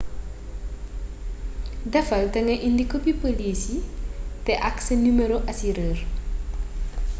defal te nga indi kopi polis yii té ak sa numero asurër